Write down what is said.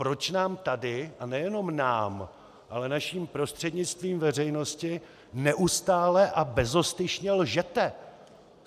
Proč nám tady - a nejenom nám, ale naším prostřednictvím veřejnosti - neustále a bezostyšně lžete?!